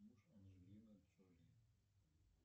муж анджелины джоли